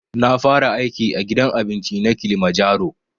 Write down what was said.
Na fara aiki a gidan abinci na kilimajaro